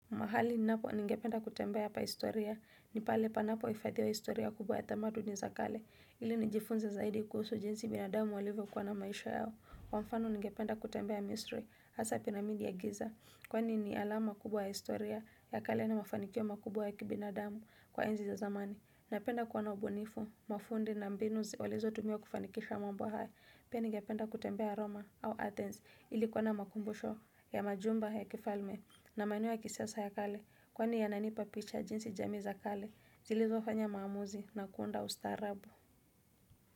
Mahali ninapo ningependa kutembea pa historia, ni pale panapo hifadhiwa historia kubwa ya tamaduni za kale, ili nijifunze zaidi kuhusu jinsi binadamu walivyokuwa na maisha yao. Kwa mfano ningependa kutembea misri, hasaa piramidi ya giza, kwani ni alama kubwa ya historia ya kale na mafanikio makubwa ya kibinadamu kwa enzi za zamani. Napenda kuwa na ubunifu, mafundi na mbinu walizotumia kufanikisha mambo haya pia ningependa kutembea Roma au Athens ili kuwa na makumbusho ya majumba ya kifalme na maeneo ya kisiasa ya kale kwani yananipa picha jinsi jamii za kale zilizofanya maamuzi na kuunda ustaarabu.